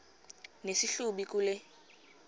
nesi hlubi kule